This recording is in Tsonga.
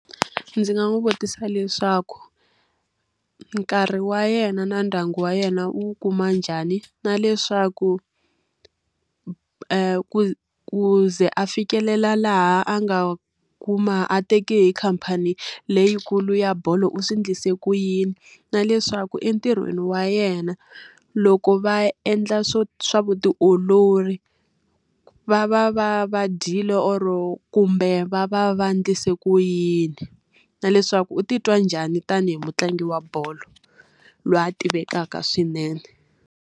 Ndzi nga n'wi vutisa leswaku, nkarhi wa yena na ndyangu wa yena wu kuma njhani? Na leswaku ku ku ze a fikelela laha a nga kuma a teke hi khamphani leyikulu ya bolo u swi endlise ku yini? Na leswaku entirhweni wa yena, loko va endla swo swa vutiolori, va va va va dyile or-o kumbe va va va endlise ku yini? Na leswaku u titwa njhani tanihi mutlangi wa bolo loyi a tivekaka swinene?